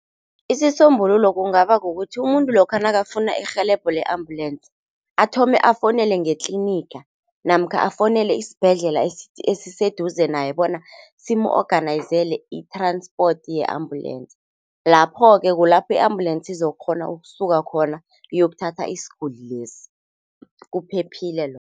Isisombululo kungaba kukuthi umuntu lokha nakafuna irhelebho le-ambulensi athome afowunele ngetliniga namkha afowunele esibhedlela esiseduze naye bona simu-onganayizele i-transport ye-ambulensi. Lapho-ke kulapho i-ambulensi izokghona ukusuka khona uyokuthatha isiguli lesi, kuphephile lo.